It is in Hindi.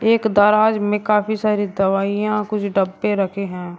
एक दराज में काफी सारी दवाइयां कुछ डब्बे रखे हैं।